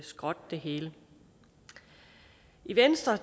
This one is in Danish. skrotte det hele i venstre